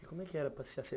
E como é que era? para ser